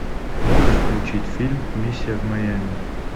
можешь включить фильм миссия в майами